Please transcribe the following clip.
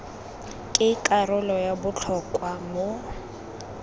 ke karolo ya botlhokwa mo